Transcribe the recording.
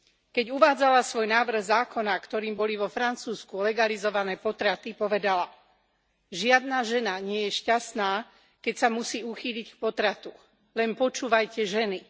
Keď uvádzala svoj návrh zákona, ktorým boli vo Francúzsku legalizované potraty, povedala Žiadna žena nie je šťastná, keď sa musí uchýliť k potratu. Len počúvajte ženy.